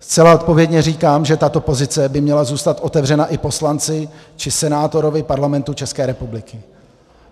Zcela odpovědně říkám, že tato pozice by měla zůstat otevřena i poslanci či senátorovi Parlamentu České republiky.